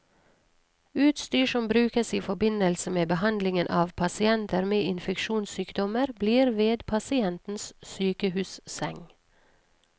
Utstyr som brukes i forbindelse med behandlingen av pasienter med infeksjonssykdommer, blir ved pasientens sykehusseng.